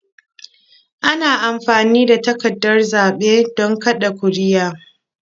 Ana amfani da takardar zaɓe don kaɗa ƙuri'a.